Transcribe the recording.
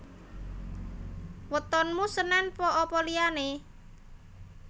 Wetonmu senen pon apa liyane?